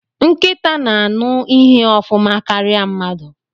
Nkịta na-aṅụ ihe ofuma karịa mmadụ.